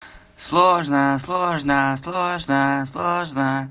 сложно сложно сложно сложно